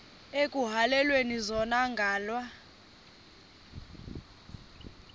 ekuhhalelwana zona ngala